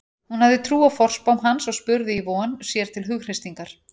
Hún hafði trú á forspám hans og spurði í von, sér til hughreystingar.